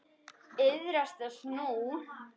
Iðrast þess nú.